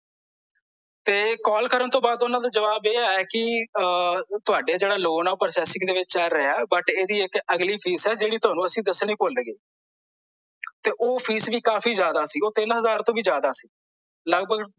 ਤੇ ਕਾਲ ਕਰਨ ਤੋਂ ਬਾਅਦ ਓਹਨਾਂ ਦਾ ਜਵਾਬ ਆਇਆ ਕੀ ਆ ਤੁਹਾਡਾ ਜਿਹੜਾ ਲੋਨ ਐ ਓਹ processing ਵਿੱਚ ਚੱਲ ਰਿਹਾ ਐ ਪਰ ਇਹਦੀ ਇੱਕ ਅਗਲੀ ਫੀਸ ਐ ਜੋ ਅਸੀਂ ਤੁਹਾਨੂੰ ਦੱਸਣੀ ਭੁੱਲ ਗਏ ਤੇ ਓਹ ਫੀਸ ਵੀ ਕਾਫੀ ਜਿਆਦਾ ਸੀ ਓਹ ਤਿੰਨ ਹਜ਼ਾਰ ਤੋਂ ਵੀ ਜਿਆਦਾ ਸੀ ਲੱਗਭਗ